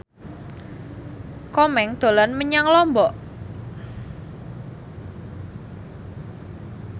Komeng dolan menyang Lombok